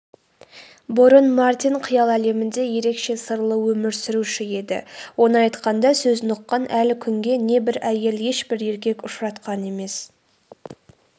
бұрын мартин қиял әлемінде ерекше сырлы өмір сүруші еді оны айтқанда сөзін ұққан әлі күнге не бір әйел ешбір еркек ұшыратқан емес